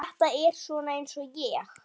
Ef ég vildi.